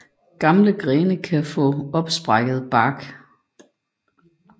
Gamle grene kan få en opsprækkende bark